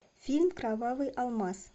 фильм кровавый алмаз